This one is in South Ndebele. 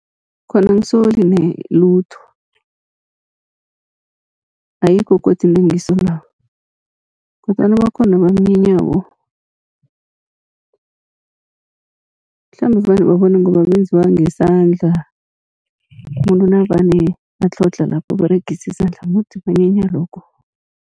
Khona angisole ne lutho, ayikho godi into engiyisolako kodwana bakhona ababunyenyako, mhlambe vane babone ngoba benziwa ngesandla, umuntu nakavane atlhodlha lapha uberegisa isandla mudi banyenya lokho.